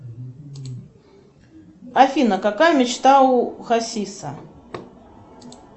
афина какая мечта у хасиса